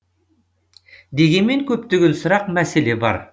дегенмен көптеген сұрақ мәселе бар